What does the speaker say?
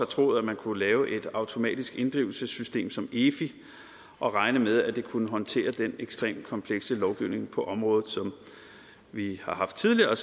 troet man kunne lave et automatisk inddrivelsessystem som efi og regne med at det kunne håndtere den ekstremt komplekse lovgivning på området som vi har haft tidligere og